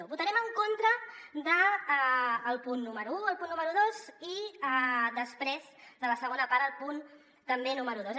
votarem en contra del punt número un el punt número dos i després de la segona part el punt també número dos